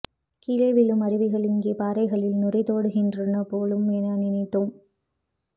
கீழே விழும் அருவிகள் அங்கே பாறைகளில் நுரைத்தோடுகின்றன போலும் என நினைத்தோம்